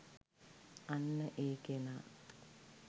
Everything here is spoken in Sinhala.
අන්න ඒ කෙනා